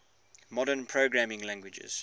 modern programming languages